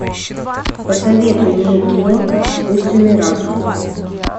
посоветуй мне кино искусственный разум